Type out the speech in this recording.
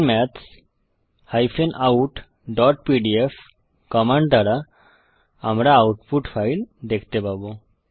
open maths outপিডিএফ command দ্বারা আমরা আউটপুট ফাইল দেখতে পাবো